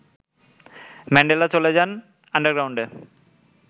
Mandela চলে যান আন্ডারগ্রাউন্ডে